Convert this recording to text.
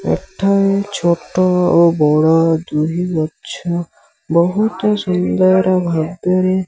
ଏଠାରେ ଛୋଟ ଓ ବଡ଼ ଦୁଇ ଗଛ ବହୁତ ସୁନ୍ଦର ଭାବରେ --